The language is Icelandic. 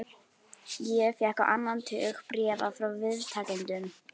Ég fékk á annan tug bréfa frá viðtakendum.